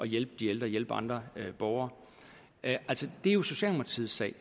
hjælpe de ældre og hjælpe andre borgere er jo socialdemokratiets sag